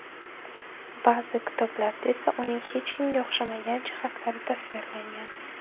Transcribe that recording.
Ba’zi kitoblarda esa uning hech kimga o‘xshamagan jihatlari tasvirlangan.